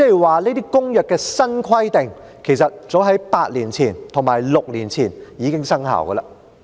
換言之，《公約》的新規定，其實早於8年前及6年前已經生效。